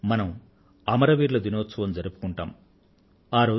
ఆ రోజు మనం అమర వీరుల దినం జరుపుకుంటాం